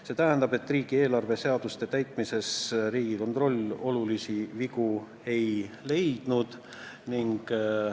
See tähendab, et riigieelarve seaduste täitmisel Riigikontroll olulisi vigu ei leidnud.